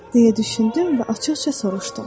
Deyə düşündüm və açıq-açıq soruşdum.